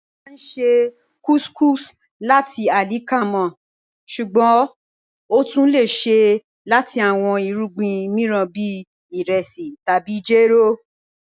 A máá n ṣè couscous lati alikama, ṣùgbọ́n o tún lẹ̀ ṣè lati awọn irugbin miiran bí iresi tabi jẹ́rò